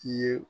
I ye